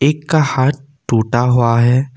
एक का हाथ टूटा हुआ है।